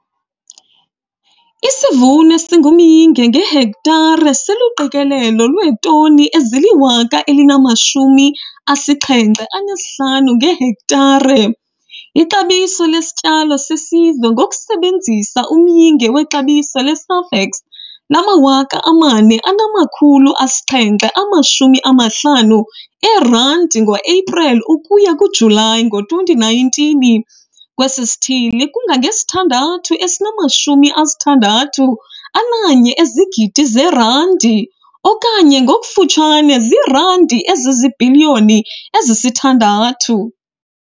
Isivuno esingumyinge ngehektare siluqikelelo lweetoni ezi-1075 ngehektare. Ixabiso lesityalo sesizwe ngokusebenzisa umyinge wexabiso leSafex lama-R4 750 ngoEpreli ukuya kuJulayi ngo-2019 kwesi sithili kungange-R6 061 000 000 okanye ngokufutshane ziirandi eziziibhiliyoni ezi-6.